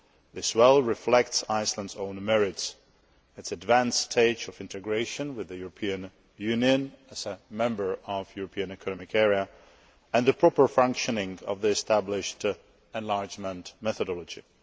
This well reflects Iceland's own merits, its advanced stage of integration with the European Union as a member of the European Economic Area, and the proper functioning of the established enlargement methodology.